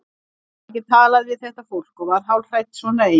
Hún gat ekki talað við þetta fólk og varð hálfhrædd svona ein.